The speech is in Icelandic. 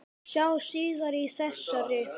Sjá síðar í þessari grein.